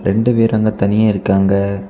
ரெண்டு பேர் அங்க தனியா இருக்காங்க.